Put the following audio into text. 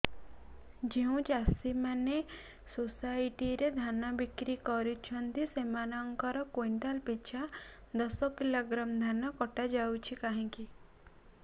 ଯେଉଁ ଚାଷୀ ମାନେ ସୋସାଇଟି ରେ ଧାନ ବିକ୍ରି କରୁଛନ୍ତି ସେମାନଙ୍କର କୁଇଣ୍ଟାଲ ପିଛା ଦଶ କିଲୋଗ୍ରାମ ଧାନ କଟା ଯାଉଛି କାହିଁକି